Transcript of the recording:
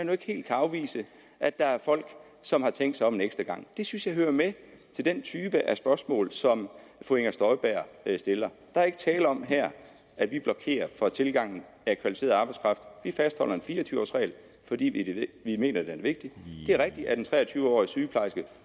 nu ikke helt kan afvise at der er folk som har tænkt sig om en ekstra gang det synes jeg hører med til den type af spørgsmål som fru inger støjberg stiller der er ikke tale om her at vi blokerer for tilgangen af kvalificeret arbejdskraft vi fastholder en fire og tyve års regel fordi vi mener den er vigtig det er rigtigt at en tre og tyve årig sygeplejerske